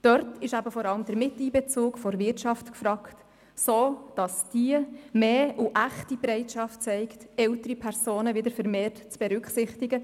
Dort ist eben vor allem der Miteinbezug der Wirtschaft gefragt, sodass diese mehr und echte Bereitschaft zeigt, ältere Personen bei der Stellenbesetzung wieder vermehrt zu berücksichtigen.